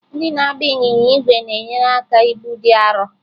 Ndị na-agba ịnyịnya ígwè na-enyere aka ibu dị arọ.